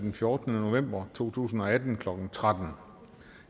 den fjortende november to tusind og atten klokken tretten